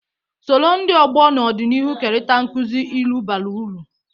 Soro ndị ọgbọ n’ọdịnihu kerịta nkuzi ilu bara uru.